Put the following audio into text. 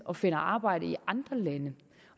og finder arbejde i andre lande